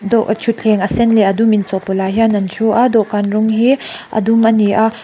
daw thuthleng a sen leh a dum inchawhpawlh ah hian an thu a dawhkan rawng h i a dum ani a.